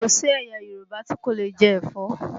Kò sí ẹ̀yà Yorùbá tí kò leè jẹ́ ẹ̀fọ́